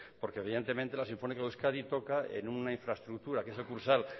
por que evidentemente la sinfónica de euskadi toca en una infraestructura que es el kursaal